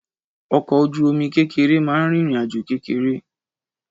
Ọkọ̀ ojú-omi kékeré máa ń rìn ìrìnàjò kékeré